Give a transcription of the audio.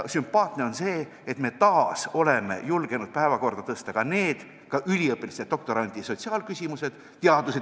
Sümpaatne on see, et me oleme taas julgenud teadusteemade all päevakorda tõsta ka üliõpilaste ja doktorantide sotsiaalküsimused.